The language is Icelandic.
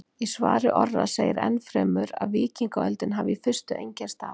Í svari Orra segir enn fremur að víkingaöldin hafi í fyrstu einkennst af: